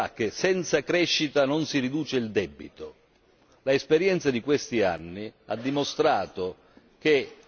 L'esperienza di questi anni ha dimostrato che con la sola austerità il debito pubblico è cresciuto.